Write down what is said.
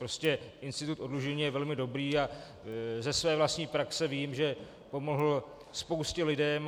Prostě institut oddlužení je velmi dobrý a ze své vlastní praxe vím, že pomohl spoustě lidem.